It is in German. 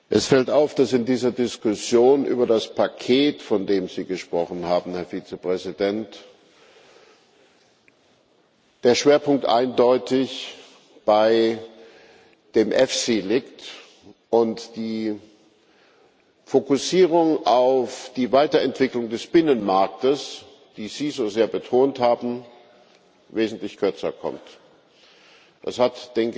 Es fällt auf, dass in dieser Diskussion über das Paket, von dem Sie gesprochen haben, Herr Vizepräsident, der Schwerpunkt eindeutig bei dem EFSI liegt und die Fokussierung auf die Weiterentwicklung des Binnenmarktes, die Sie so sehr betont haben, wesentlich kürzer kommt. Das hat